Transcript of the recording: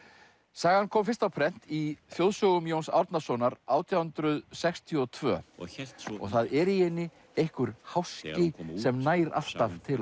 sagan kom fyrst á prent í þjóðsögum Jóns Árnasonar átján hundruð sextíu og tvö og það er í henni einhver háski sem nær alltaf til